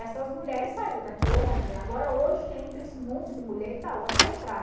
Essas mulheres saíram daqui ontem, agora hoje entra esse monte de mulher e ele dá ordem para entrar.